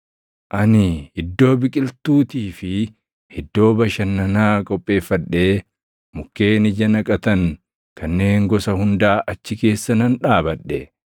Ani iddoo biqiltuutii fi iddoo bashannanaa qopheeffadhee mukkeen ija naqatan kanneen gosa hundaa achi keessa nan dhaabadhe.